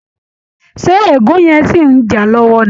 Ṣé ègún yẹn ṣì ń jà á lọ́wọ́ ni?